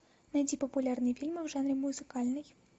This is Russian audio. найди популярные фильмы в жанре музыкальный